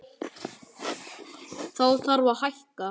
Þá þarf að hækka.